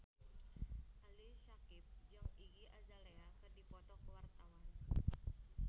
Ali Syakieb jeung Iggy Azalea keur dipoto ku wartawan